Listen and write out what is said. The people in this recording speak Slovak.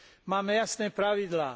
Máme jasné pravidlá.